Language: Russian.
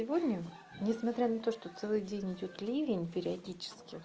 сегодня не смотря на то что целый день идёт ливень периодически